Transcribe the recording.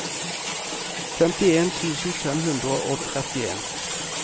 femtien tusen fem hundre og trettien